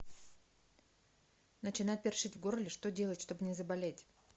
начинает першить в горле что делать чтобы не заболеть